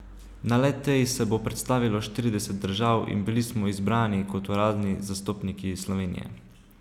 Na le tej se bo predstavilo štirideset držav in bili smo izbrani, kot uradni zastopniki Slovenije.